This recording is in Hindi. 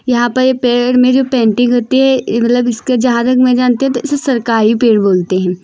यहां पर ये पेड़ में जो पेंटिंग होती है ई मतलब इसको जहाँ तक मैं जानती हूँ तो इसे सरकारी पेड़ बोलते है।